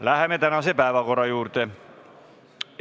Läheme tänase päevakorra juurde!